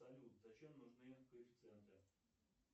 салют зачем нужны коэффициенты